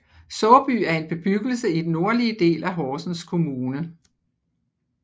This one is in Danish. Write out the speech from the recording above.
Såby er en bebyggelse i den nordlige del af Horsens Kommune